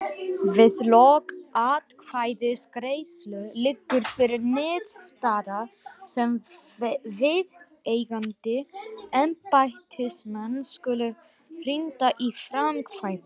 Við lok atkvæðagreiðslu liggur fyrir niðurstaða sem viðeigandi embættismenn skulu hrinda í framkvæmd.